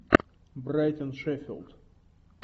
брайтон шеффилд